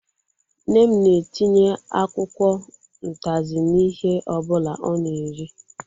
Nne m na-etinye akwụkwọ utazi n'ihe ọbụla ọ na-eri